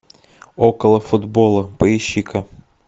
около футбола поищи ка